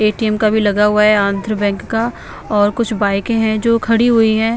ATM का भी लगा हुआ है आंध्र बैंक का और कुछ बाइकें हैं जो खड़ी हुई हैं।